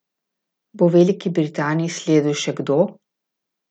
Bo Veliki Britaniji sledil še kdo?